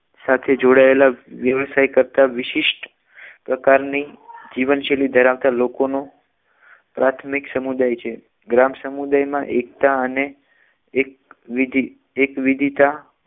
સાથે જોડાયેલા વ્યવસાય કરતાં વિશિષ્ટ પ્રકારની જીવન શૈલી ધરાવતી લોકોના પ્રાથમિક સમુદાય છે ગ્રામ સમુદાયમાં એકતા અને એક વિધિ એક વિધીતા